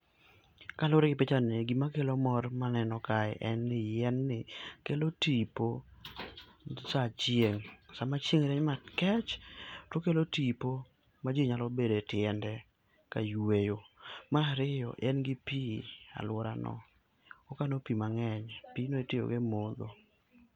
Kalure gi picha ni gi ma kelo mor ma aneno kae en ni yien ni kelo tipo sa achiel sa ma chieng' rieny makech to okelo tipo ma ji nyalo bedo e tiende ka yweyo. Mar ariyo, en gi pi e aluora no, okano pi mang'eny, pi no itiyo go e modho.